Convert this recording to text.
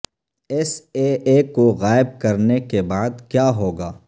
S A A کو غائب کرنے کے بعد کیا ہو گا